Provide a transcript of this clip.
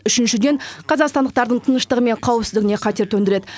үшіншіден қазақстандықтардың тыныштығы мен қауіпсіздігіне қатер төндіреді